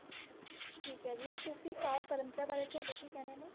ਠੀਕ ਏ ਜੀ ਸੂਫੀ ਕਾਵਿ ਪ੍ਰੰਪਰਾ ਬਾਰੇ ਤੁਹਾਡੇ ਕੀ ਕਹਿਣੇ ਨੇ?